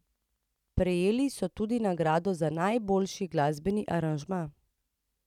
Prejeli so tudi nagrado za najboljši glasbeni aranžma.